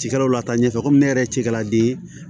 Cikɛlaw lataɲɛ ko ne yɛrɛ cikɛla de ye